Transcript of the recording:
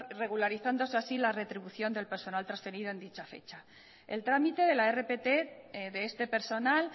regularizándose así la retribución del personal transferido en dicha fecha el trámite de la rpt de este personal